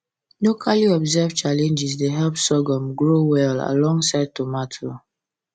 locally observed challenges dey help sorghum grow well alongside tomato